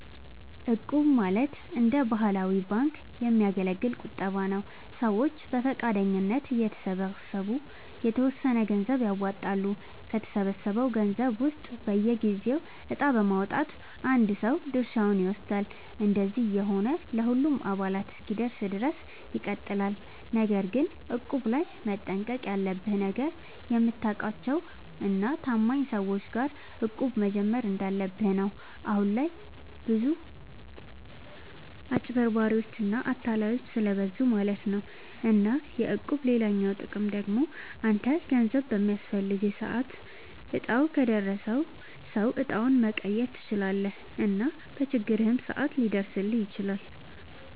እቁብ ማለት እንደ ባህላዊ ባንክ የሚያገለግል ቁጠባ ነዉ። ሰዎች በፈቃደኝነት እየተሰባሰቡ የተወሰነ ገንዘብ ያዋጣሉ፣ ከተሰበሰበው ገንዘብ ውስጥ በየጊዜው እጣ በማዉጣት አንድ ሰው ድርሻውን ይወስዳል። እንደዚህ እየሆነ ለሁሉም አባላት እስኪደርስ ድረስ ይቀጥላል። ነገር ግን እቁብ ላይ መጠንቀቅ ያለብህ ነገር፣ የምታውቃቸው እና ታማኝ ሰዎች ጋር እቁብ መጀመር እንዳለብህ ነው። አሁን ላይ ብዙ አጭበርባሪዎች እና አታላዮች ስለብዙ ማለት ነው። እና የእቁብ ሌላኛው ጥቅም ደግሞ አንተ ገንዘብ በሚያስፈልግህ ሰዓት እጣው ከደረሰው ሰው እጣውን መቀየር ትችላለህ እና በችግርህም ሰዓት ሊደርስልህ ይችላል።